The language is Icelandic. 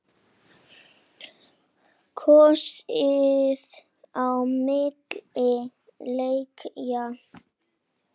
Kosið á milli leikja?